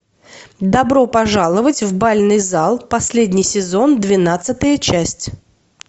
добро пожаловать в бальный зал последний сезон двенадцатая часть